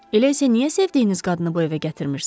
Elə isə niyə sevdiyiniz qadını bu evə gətirmirsiz?